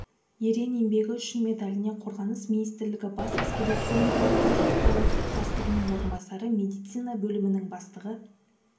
ерен еңбегі үшін медаліне қорғаныс министрлігі бас әскери клиникалық госпиталі бастығының орынбасары медицина бөлімінің бастығы